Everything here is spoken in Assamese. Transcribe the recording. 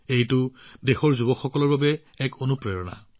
এইটো সঁচাকেয়ে দেশৰ যুৱকযুৱতীসকলৰ বাবে এক বৃহৎ প্ৰেৰণা